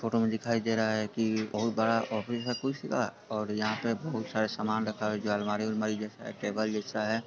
Photo में दिखाई दे रहा है की बहुत बड़ा ऑफिस है| कुर्सी का और यहा पे बहुत सारा सामान रखा है जो अलमारी अलमारी जेसा है टेबल जेसा है।